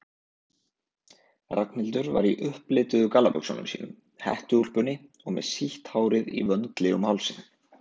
Ragnhildur var í upplituðu gallabuxunum sínum, hettuúlpunni og með sítt hárið í vöndli um hálsinn.